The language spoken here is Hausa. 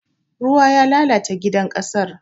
Ruwa ya lalata gidan ƙasar.